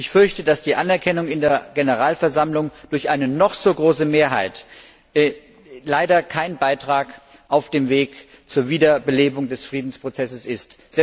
Ich fürchte, dass die Anerkennung in der Generalversammlung durch eine noch so große Mehrheit leider kein Beitrag auf dem Weg zur Wiederbelebung des Friedensprozesses ist.